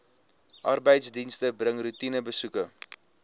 arbeidsdienste bring roetinebesoeke